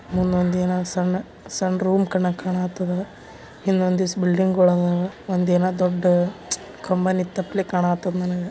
ಮುಂದೊಂದ್ ಏನ ಸಣ್ಣ ಸಣ್ಣ್ ರೂಮ್ ಕಾಣ ಕಾಣತ್ತಾದ ಹಿಂದೊಂದಿಷ್ಟ್ ಬಿಲ್ಡಿಂಗ್ ಗೋಳದಾವ. ಒಂದ್ ಏನ ದೊಡ್ಡ್ ಕಂಬ ನಿನ್ತಪಲೇ ಕಾಣತ್ತದ್ ನನಗ.